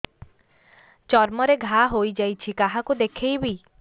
ଚର୍ମ ରେ ଘା ହୋଇଯାଇଛି କାହାକୁ ଦେଖେଇବି